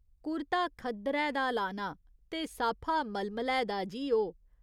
कुर्ता खद्दरे दा लाना, ते साफा मलमलै दा जी ओ।